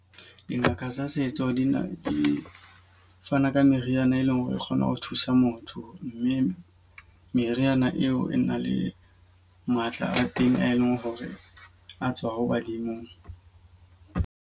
Dingaka tsa setso di na di fana ka meriana e leng hore e kgone ho thusa motho. Mme meriana eo e na le matla a teng a e leng hore a tswa ho badimong.